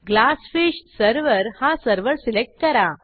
GlassFish server हा server select करा